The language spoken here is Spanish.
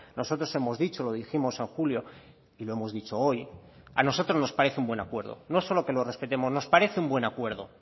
nosotros hemos dicho lo dijimos en julio y lo hemos dicho hoy a nosotros nos parece un buen acuerdo no solo que lo respetemos nos parece un buen acuerdo